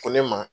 Ko ne ma